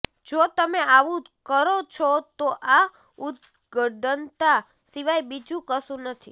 જો તમે આવુ કરો છો તો આ ઉદ્દંડતા સિવાય બીજુ કશુ નથી